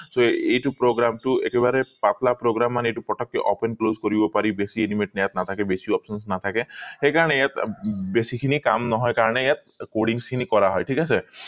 so এইটো program টো একেবাৰে পাটলা program মানে এইটো পটকে open close কৰিব পাৰি বেছি animate ইয়াত নাথাকে বেছি options ইয়াত নাথাকে সেই কাৰণে ইয়াত বেছি খিনি কাম নহয় কাৰণে ইয়াত recordings খিনি কৰা হয় ঠিক আছে